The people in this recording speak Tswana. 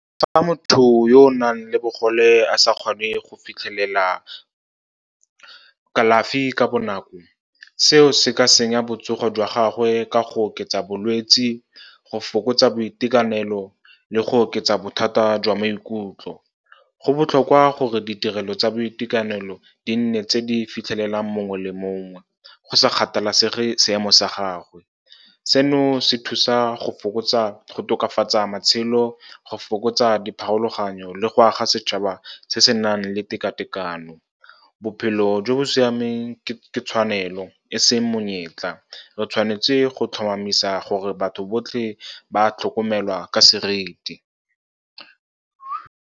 Fa motho yo o nang le bogole a sa kgone go fitlhelela kalafi ka bonako, seo se ka senya botsogo jwa gagwe ka go oketsa bolwetse, go fokotsa boitekanelo le go oketsa bothata jwa maikutlo. Go botlhokwa gore ditirelo tsa boitekanelo di nne tse di fitlhelelang mongwe le mongwe, go sa kgathalasege seemo sa gagwe. Seno se thusa go tokafatsa matshelo, go fokotsa dipharologanyo le go aga setšhaba se se nang le tekatekano. Bophelo jo bo siameng ke tshwanelo e seng monyetla, re tshwanetse go tlhomamisa gore batho botlhe ba tlhokomelwa ka seriti.